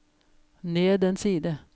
ned en side